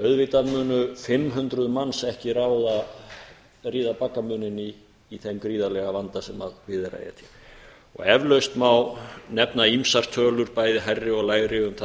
auðvitað munu fimm hundruð manns ekki ríða baggamuninn í þeim gríðarlega vanda sem við er að etja eflaust má nefna ýmsar tölur bæði hærri og lægri um